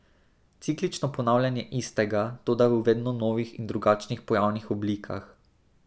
Ciklično ponavljanje istega, toda v vedno novih in drugačnih pojavnih oblikah.